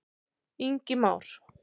Ingi Már.